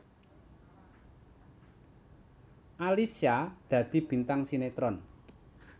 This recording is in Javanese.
Alyssa dadi bintang sinetron